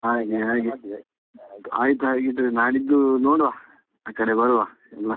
ಹಾಗೆ ಹಾಗೆ ಆಯ್ತಾ ಹಾಗಿದ್ರೆ ನಾಡಿದ್ದು ನೋಡುವ ಆ ಕಡೆ ಬರುವ ಎಲ್ಲ.